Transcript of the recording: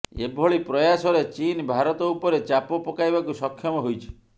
ଏଭଳି ପ୍ରୟାସରେ ଚୀନ୍ ଭାରତ ଉପରେ ଚାପ ପକାଇବାକୁ ସକ୍ଷମ ହୋଇଛି